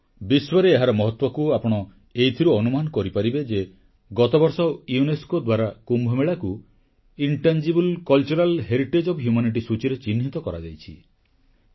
ବିଶ୍ୱରେ ଏହାର ମହତ୍ୱକୁ ଆପଣ ଏଇଥିରୁ ଅନୁମାନ କରିପାରିବେ ଯେ ଗତବର୍ଷ ୟୁନେସ୍କୋ ଦ୍ୱାରା କୁମ୍ଭମେଳାକୁ ମାନବ ସଭ୍ୟତାର ଅଦୃଶ୍ୟ ସାଂସ୍କୃତିକ ଐତିହ୍ୟ intangible cultural heritage O F humanity ସୂଚୀରେ ଚିହ୍ନିତ କରାଯାଇଛି